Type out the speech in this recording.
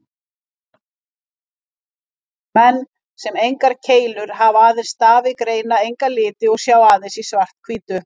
Menn sem engar keilur hafa, aðeins stafi, greina enga liti og sjá aðeins í svart-hvítu.